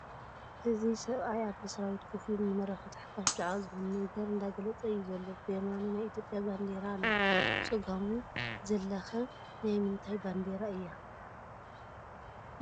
እዚ ሰብኣይ ኣብ መስሪያ ቤት ከፍ ኢሉ ንመራኸብቲ ሓፋሽ ብዛዕባ ዝኾነ ነገር እንዳገለፀ እዩ ዘሎ ፡ ብየማኑ ናይ ኢ/ያ ባንዴራ ኣላ ብፀጋሙ ዘላኸ ባት ንንታይ ባንዴራ እያ ?